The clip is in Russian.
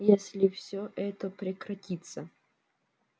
если все это прекратится